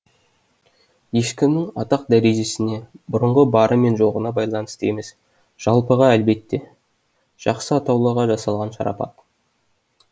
ешкімнің атақ дәрежесіне бұрынғы бары мен жоғына байланысты емес жалпыға әлбетте жақсы атаулыға жасалған шарапат